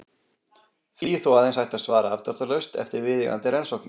Því er þó aðeins hægt að svara afdráttarlaust eftir viðeigandi rannsóknir.